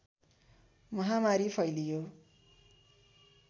महामारी फैलियो